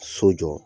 So jɔ